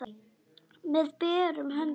Með berum höndum.